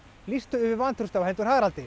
lýstu yfir vantrausti á hendur Haraldi